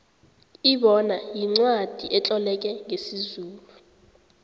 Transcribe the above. ibona yincwacli etloleke ngesizulu